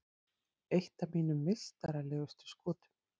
Eitt af mínum meistaralegustu skotum.